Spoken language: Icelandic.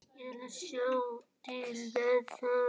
Ég ætla að sjá til með það.